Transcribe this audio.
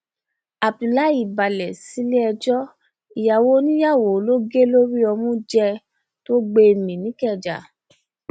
abdullahi balẹ̀ sílé ẹjọ́ ìyàwó oníyàwó ló gé lórí ọmú jẹ tó gbé e mì nìkẹjà